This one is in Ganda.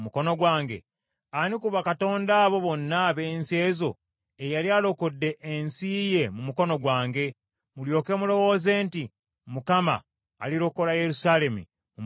Ani ku bakatonda abo bonna ab’ensi ezo eyali alokodde ensi ye mu mukono gwange, mulyoke mulowooze nti Mukama alirokola Yerusaalemi mu mukono gwange?”